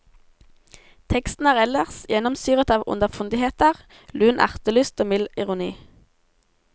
Teksten er ellers gjennomsyret av underfundigheter, lun ertelyst og mild ironi.